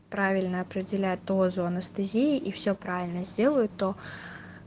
правильно определят дозу анестезии и все правильно сделают то